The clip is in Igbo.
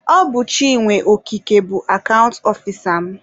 Ọ bụ Chinwe Okeke bụ akant ọfisa m.